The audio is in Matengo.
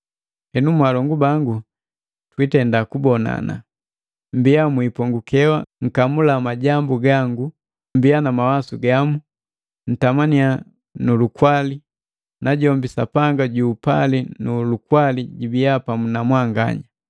Henu, mwaalongu bangu twiibonana. Mmbia mwipongukewa nkamula majambu gangu, mmbia na mawasu gamu, ntamannya nu lukwali. Najombi Sapanga ju upali nu lukwali jibiya pamu na mwanganya.